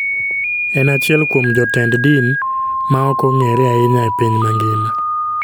En achiel kuom jotend din ma ok ong'ere ahinya e piny mangima.